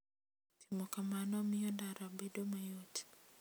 Timo kamano miyo ndara bedo mayot.